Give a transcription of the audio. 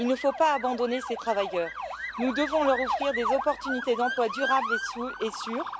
Il ne faut pas abandonner ces travailleurs, nous devons leur offrir des opportunités d'emplois durables et sûrs.